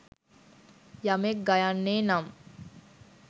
යමෙක් ගයන්නේ නම්